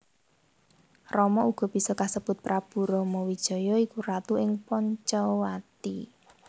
Rama uga bisa kasebut Prabu Ramawijaya iku ratu ing Pancawati